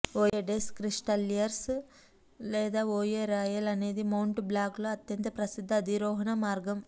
వోయే des Cristalliers లేదా Voie Royale అనేది Mont బ్లాంక్లో అత్యంత ప్రసిద్ధ అధిరోహణ మార్గం